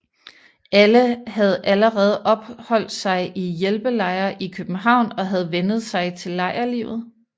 Alle havde allerede opholdt sig i hjælpelejre i København og havde vænnet sig til lejrlivet